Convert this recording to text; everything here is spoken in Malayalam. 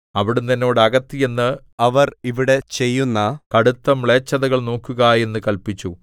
അവിടുന്ന് എന്നോട് അകത്ത് ചെന്ന് അവർ ഇവിടെ ചെയ്യുന്ന കടുത്ത മ്ലേച്ഛതകൾ നോക്കുക എന്ന് കല്പിച്ചു